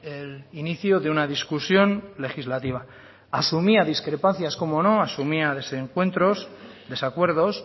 el inicio de una discusión legislativa asumía discrepancias cómo no asumía desencuentros desacuerdos